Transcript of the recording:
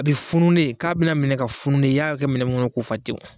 A bɛ fune k'a bɛna minɛ ka funu de i y'a kɛ minɛ min kɔnɔ k'o fa tewu